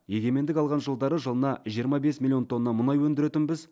егемендік алған жылдары жылына жиырма бес миллион тонна мұнай өндіретінбіз